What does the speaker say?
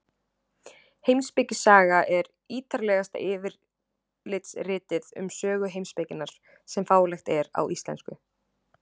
Heimspekisaga er ítarlegasta yfirlitsritið um sögu heimspekinnar sem fáanlegt er á íslensku.